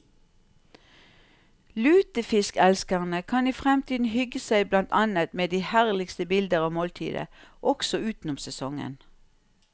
Lutefiskelskerne kan i fremtiden hygge seg blant annet med de herligste bilder av måltidet også utenom sesongen.